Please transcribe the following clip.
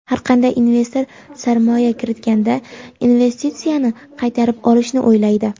har qanday investor sarmoya kiritganda investitsiyasini qaytarib olishni o‘ylaydi.